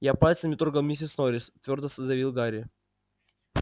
я пальцем не трогал миссис норрис твёрдо заявил гарри